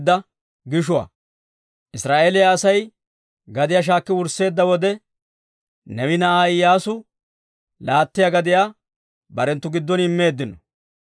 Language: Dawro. Israa'eeliyaa Asay gadiyaa shaakki wursseedda wode, Neewe na'aa Iyyaasuu laattiyaa gadiyaa barenttu giddon immeeddino.